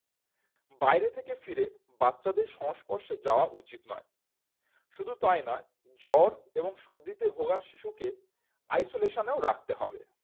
বাইরে থেকে ফিরে বাচ্চাদের সংস্পর্শে যাওয়া উচিত নয় শুধু তাই নয় জ্বর এবং সর্দিতে ভোগা শিশুকে isolation এও রাখতে হবে